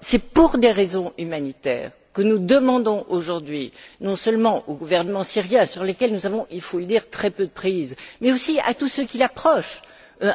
C'est pour des raisons humanitaires que nous demandons aujourd'hui, non seulement au gouvernement syrien, sur lequel nous avons, il faut le dire, très peu de prise, mais aussi à tous ceux qui l'approchent,